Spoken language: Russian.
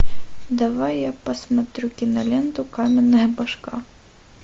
давай я посмотрю киноленту каменная башка